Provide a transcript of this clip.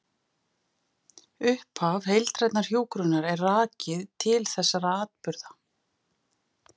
Upphaf heildrænnar hjúkrunar er rakið til þessara atburða.